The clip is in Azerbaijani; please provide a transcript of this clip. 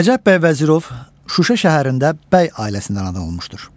Nəcəf bəy Vəzirov Şuşa şəhərində bəy ailəsində anadan olmuşdur.